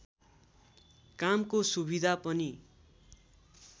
कामको सुविधा पनि